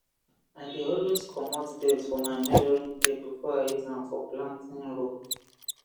i dey always comot dirt for my measuring tape before i use am for planting row